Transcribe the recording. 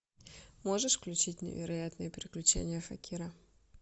можешь включить невероятные приключения факира